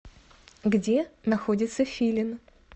где находится филин